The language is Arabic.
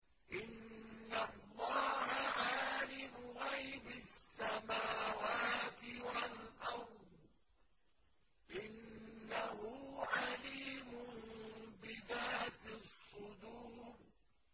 إِنَّ اللَّهَ عَالِمُ غَيْبِ السَّمَاوَاتِ وَالْأَرْضِ ۚ إِنَّهُ عَلِيمٌ بِذَاتِ الصُّدُورِ